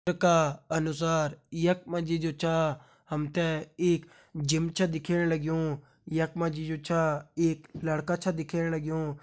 का अनुसार यख मा जी जु छ हम तें एक जिम छ दिखेण लग्युं यख मा जी जु छ एक लड़का छ दिखेण लग्युं।